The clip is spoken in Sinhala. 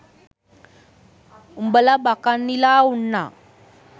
උඹල බකන්නිලා උන්නා.